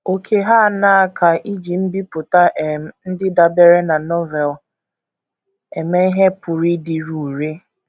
Ókè hà aṅaa ka iji mbipụta um ndị dabeere na Novel eme ihe pụrụ ịdịru irè?